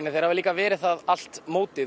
en þeir hafa líka verið það allt mótið